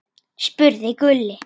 spurði Gulli.